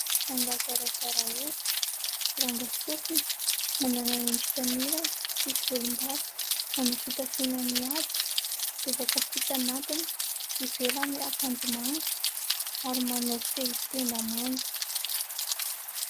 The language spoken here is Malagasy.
Rangahy zarazara hoditra, ranga sofina, manana endrika mirana, tsy misy volombava. Manao fitafiana mihaja, lobaka fotsy anatiny, ivelany akanjo manga ary manao fehitenda manga.